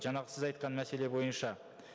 жаңағы сіз айтқан мәселе бойынша